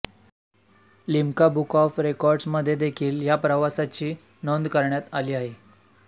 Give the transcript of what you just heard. Limca book of records मध्ये देखील ह्या प्रवासाची नोंद करण्यात आली आहे